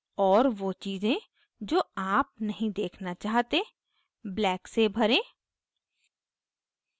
और वो चीज़ें जो आप नहीं देखना चाहते black से भरें